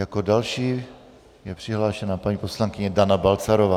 Jako další je přihlášená paní poslankyně Dana Balcarová.